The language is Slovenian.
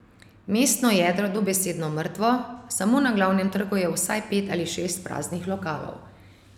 Mestno jedro je dobesedno mrtvo, samo na glavnem trgu je vsaj pet ali šest praznih lokalov.